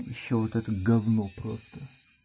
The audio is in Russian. ещё вот это говно просто